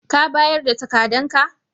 Ka bayar da takadan ka?